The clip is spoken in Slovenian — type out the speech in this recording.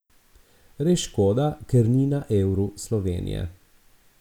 Res škoda, ker ni na Euru Slovenije.